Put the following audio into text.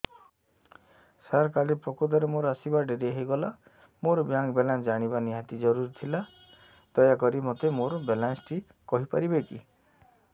ସାର କାଲି ପ୍ରକୃତରେ ମୋର ଆସିବା ଡେରି ହେଇଗଲା ମୋର ବ୍ୟାଙ୍କ ବାଲାନ୍ସ ଜାଣିବା ନିହାତି ଜରୁରୀ ଥିଲା ଦୟାକରି ମୋତେ ମୋର ବାଲାନ୍ସ ଟି କହିପାରିବେକି